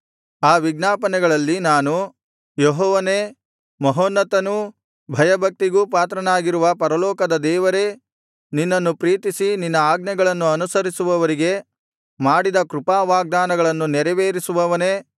ಆ ವಿಜ್ಞಾಪನೆಗಳಲ್ಲಿ ನಾನು ಯೆಹೋವನೇ ಮಹೋನ್ನತನೂ ಭಯಭಕ್ತಿಗೂ ಪಾತ್ರನಾಗಿರುವ ಪರಲೋಕದ ದೇವರೇ ನಿನ್ನನ್ನು ಪ್ರೀತಿಸಿ ನಿನ್ನ ಆಜ್ಞೆಗಳನ್ನು ಅನುಸರಿಸುವವರಿಗೆ ಮಾಡಿದ ಕೃಪಾವಾಗ್ದಾನಗಳನ್ನು ನೆರವೇರಿಸುವವನೇ